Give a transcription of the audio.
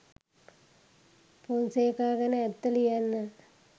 පොන්සේකා ගැන ඇත්ත ලියන්න